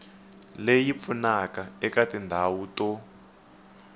leyi pfunaka eka tindhawu to